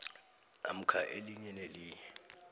namkha elinye nelinye